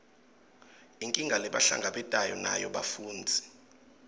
inkinga lebahlangabetana nayo bafundzi